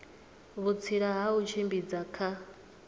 vhutsila ha u tshimbidza kha